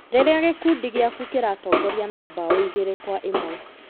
rĩrĩa gĩkundi gĩaku kĩratongoria na mbao igĩrĩ kwa ĩmwe.